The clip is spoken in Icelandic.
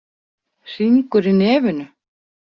Hringur í nefinu.